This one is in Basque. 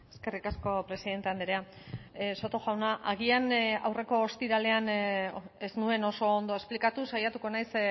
eskerrik asko presidente andrea soto jauna agian aurreko ostiralean ez nuen oso ondo esplikatu saiatuko naiz